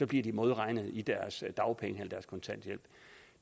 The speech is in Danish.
bliver de modregnet i deres dagpenge eller deres kontanthjælp